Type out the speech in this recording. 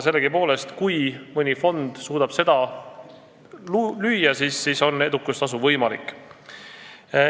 Sellegipoolest, kui mõni fond suudab seda lüüa, siis on edukustasu võimalik.